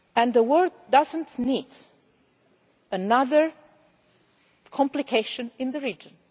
The world does not need another complication in the region.